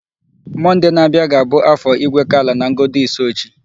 Monday n'abịa ga-abụ Afọ Igwekala na Ngodo Isuochi.